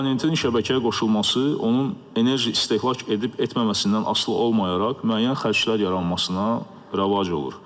Abonentin şəbəkəyə qoşulması, onun enerji istehlak edib-etməməsindən asılı olmayaraq müəyyən xərclər yaranmasına rəvac olur.